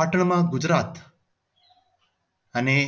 પાટણમાં ગુજરાત અને